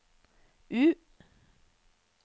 U